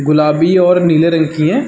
गुलाबी और नीले रंग की हैं।